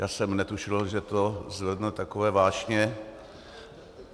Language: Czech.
Já jsem netušil, že to zvedne takové vášně.